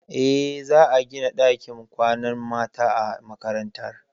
Eh, za a gina ɗakin kwanan mata a makarantar.